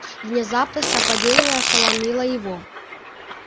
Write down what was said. внезапность нападения ошеломила его